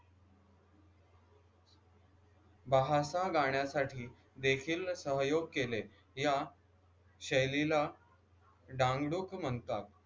बहारा गाण्यासाठी देखील सहयोग केले या शैलीला म्हणतात